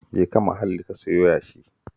Jeka Mahalli ka siyo yashi